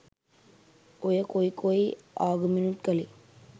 ඔය කොයි කොයි ආගමෙනුත් කලේ